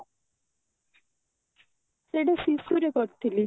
ସେଇଟା ଶିଶୁ ରୁ କରିଥିଲି